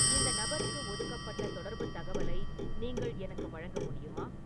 இந்த நபருக்கு ஒதுக்கப்பட்ட தொடர்புத் தகவலை நீங்கள் எனக்கு வழங்க முடியுமா